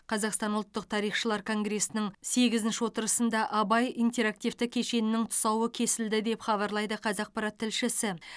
қазақстан ұлттық тарихшылар конгресінің сегізінші отырысында абай интерактивті кешенінің тұсауы кесілді деп хабарлайды қазақпарат тілшісі